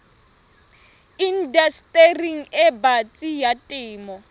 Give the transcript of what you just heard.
indastering e batsi ya temo